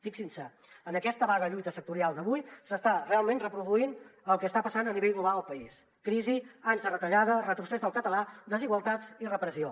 fixin se en aquesta vaga lluita sectorial d’avui s’està realment reproduint el que està passant a nivell global al país crisi anys de retallada retrocés del català desigualtats i repressió